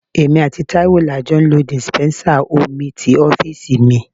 Èmi àti Taiwo la jọ ń lo dispensa omi ti ọ́fíìsì mi.